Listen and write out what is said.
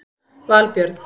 Valbjörn